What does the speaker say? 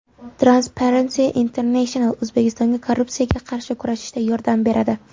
Transparency International O‘zbekistonga korrupsiyaga qarshi kurashishda yordam beradi.